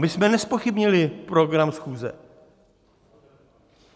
My jsme nezpochybnili program schůze.